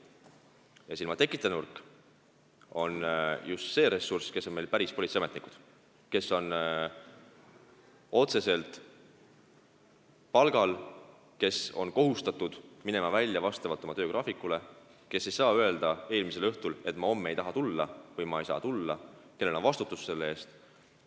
See ilma tekita nurk on just see ressurss, päris politseiametnikud, kes on otseselt palgal, kes on kohustatud minema välja vastavalt oma töögraafikule, kes ei saa eelmisel õhtul öelda, et nad homme ei taha või ei saa tulla, nad vastutavad selle töö eest.